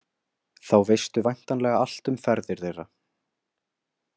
Þá veistu væntanlega allt um ferðir þeirra.